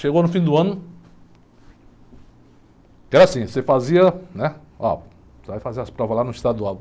Chegou no fim do ano, era assim, você fazia, né, ó, você vai fazer as provas lá no estadual.